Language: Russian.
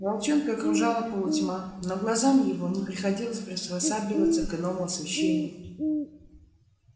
волчонка окружала полутьма но глазам его не приходилось приспосабливаться к иному освещению